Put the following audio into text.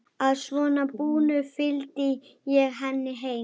Að svo búnu fylgdi ég henni heim.